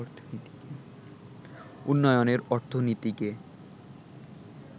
উন্নয়নের অর্থনীতিকে